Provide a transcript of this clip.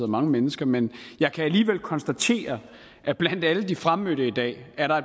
mange mennesker men jeg kan alligevel konstatere at blandt alle de fremmødte i dag er der